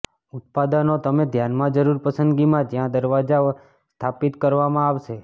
ઉત્પાદનો તમે ધ્યાનમાં જરૂર પસંદગીમાં જ્યાં દરવાજા સ્થાપિત કરવામાં આવશે